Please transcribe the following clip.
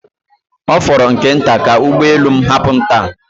Ọ fọrọ nke nta ka ụgbọ elu m hapụ m taa